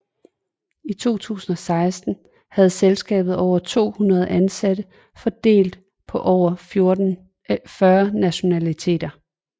I 2016 havde selskabet over 200 ansatte fordelt på over 40 nationaliteter